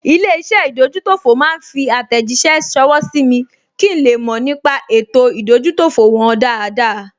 Ilé-iṣẹ́ ìdójútòfò máa fi àtẹ̀jíṣẹ́ ṣọwọ́ sí mi kí n le mọ̀ nípa ètò ìdójútòfò wọn dáadáa